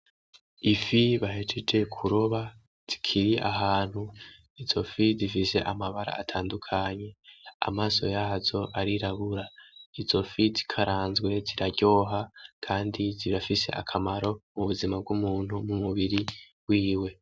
Ifi bahejeje kuroba zikiri ahantu, izofi zifise amabara atandukanye amaso yazo arirabura, izo fi zikaranzwe ziraryoha, kandi zirafise akamaro mubuzima bw'umuntu mumubiri wiwe.